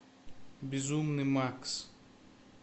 безумный макс